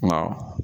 Nka